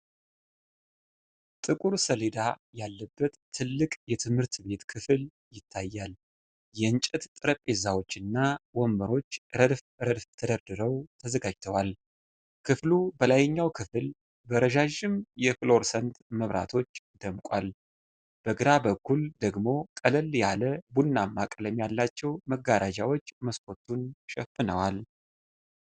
ጥቁር ሰሌዳ ያለበት ትልቅ የትምህርት ክፍል ይታያል። የእንጨት ጠረጴዛዎች እና ወንበሮች ረድፍ ረድፍ ተደርገው ተዘጋጅተዋል። ክፍሉ በላይኛው ክፍል በረዣዥም የፍሎረሰንት መብራቶች ደምቋል። በግራ በኩል ደግሞ ቀለል ያለ ቡናማ ቀለም ያላቸው መጋረጃዎች መስኮቱን ሸፍነዋል።